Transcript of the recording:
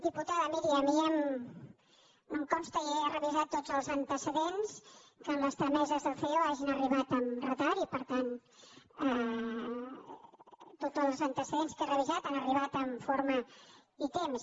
diputada miri a mi no em consta i n’he revisat tots els antecedents que les trameses del ceo hagin arribat amb retard i per tant tots els antecedents que he revisat han arribat amb forma i temps